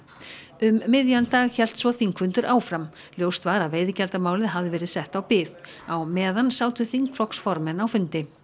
um miðjan dag hélt svo þingfundur áfram ljóst var að veiðigjaldamálið hafði verið sett á bið á meðan sátu þingflokksformenn á fundi